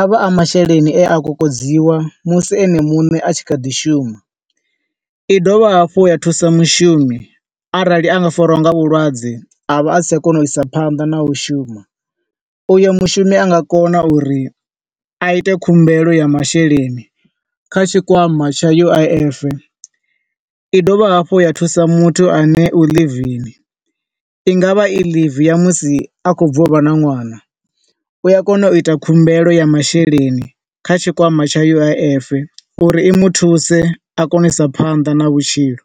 avha a masheleni e a kokodziwa musi ene muṋe a tshi kha ḓi shuma. I dovha hafhu ya thusa mushumi arali anga fariwa nga vhulwadze avha a si tsha kona u isa phanḓa na u shuma. U yo mushumi anga kona uri a ite khumbelo ya masheleni kha tshikwama tsha U_I_F. I dovha hafhu ya thusa muthu ane u ḽivini, i nga vha i leave ya musi a khou bva u vha na ṅwana, u a kona u ita khumbelo ya masheleni kha tshikwama tsha U_I_F, uri i muthuse a kone u isa phanḓa na vhutshilo.